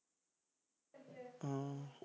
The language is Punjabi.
ਹਮ